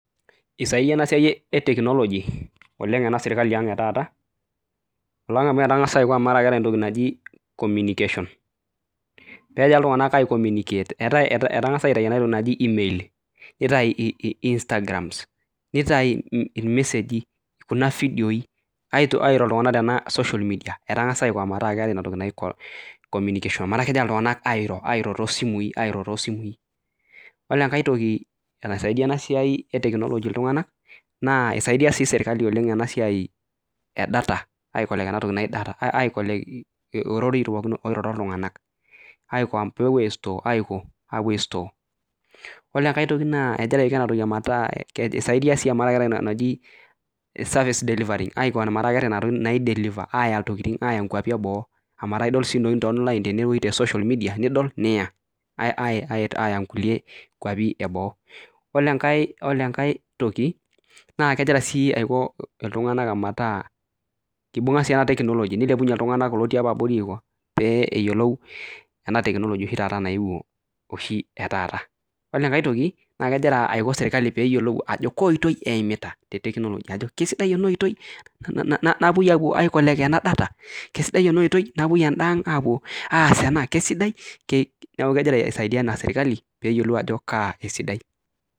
Esaidaiye ena siai eteknoloji oleng ena sirkali aang' etaata, oleng amu etangasa aiko amu ekeetae entoki naji communicatiion petii oltungana aicommunicate. Eatae etangasa aitai entoki naji email, neitai instagrams, neitai ilmeseji kuna vidioi, airo iltungana tena social media. Etagasa aiko metaa keatae enatoki naji communication mataa kegira iltunganak airo too simui, airo too simui. Ore enkae toki enesaidia ena siai eteknoloji iltungana naa eisaidia sii sirkali oleng ena siai edata aicollect enatoki naji data, aikolekt ororoi pooki oiroro iltunganak aiko peepuo aistoo, aapo aistoo. Ore enkae tioki naa egira aiko enatoki metaa esaidia sii amu eatae enatoki najii service delivery aiko metaa keatae nena tokitin naideliver aaya nena tokitin aaya nkuapi eboo, amu ataa idol sii ntokitin teonline tenewueji nidol niya, aaya nkulie kuapi eboo. Ore enkae toki naa kegira sii aiko iltunganak omataa keibung'a sii ena teknoloji, neilepunye iltunganak otii apa abori pee eyiolou ena teknoloji oshi naewuo oshi etaata. Ore enkae naa kegira aiko sirkali peyiolou ajo kaa oitei eimita te teknoloji, ajo kesidai ena oitoi naapoi aicollect enadata? Kesidai anda oitoi napoi anda aang' aapo aas anda? Kesidai naaku kegira aisaidia ana sirkali peeyiolou ajo kaa esidai.